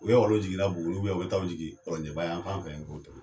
U bɛ wal'u jiginna BUGUNIN u bɛ taa jigin KƆNJƐBA yanfan fɛ nkɔ tuguni.